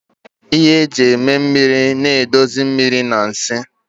Ihe eji eme mmiri na-edozi mmiri na nsị